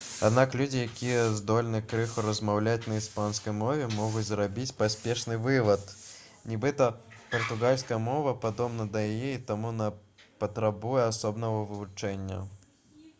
аднак людзі якія здольны крыху размаўляць на іспанскай мове могуць зрабіць паспешны вывад нібыта партугальская мова падобна да яе і таму не патрабуе асобнага вывучэння